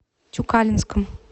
тюкалинском